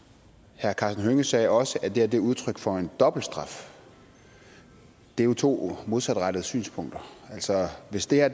herre karsten hønge sagde også at det er udtryk for en dobbelt straf det er jo to modsatrettede synspunkter altså hvis det her